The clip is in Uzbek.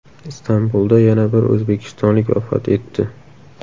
Istanbulda yana bir o‘zbekistonlik vafot etdi.